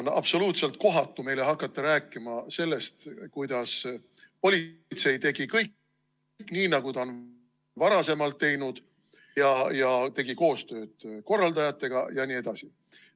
On absoluutselt kohatu hakata meile rääkima sellest, kuidas politsei tegi kõik nii, nagu ta on varasemalt teinud, tegi koostööd korraldajatega jne.